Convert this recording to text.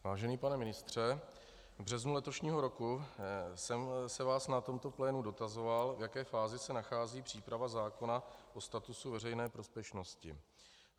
Vážený pane ministře, v březnu letošního roku jsem se vás na tomto plénu dotazoval, v jaké fázi se nachází příprava zákona o statusu veřejné prospěšnosti.